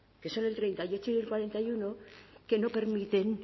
que son el treinta y ocho y el cuarenta y uno que no permiten